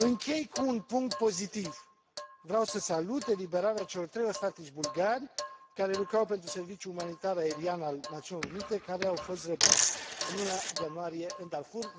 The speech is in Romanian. Închei cu un punct pozitiv vreau să salut eliberarea celor trei ostatici bulgari care lucrau pentru serviciul umanitar aerian al Națiunilor Unite, care au fost răpiți în luna ianuarie în Darfur.